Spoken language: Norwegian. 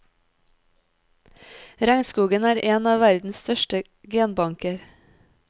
Regnskogen er en av verdens største genbanker.